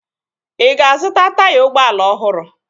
Ị ga-azụta taya ụgbọala ọhụrụ?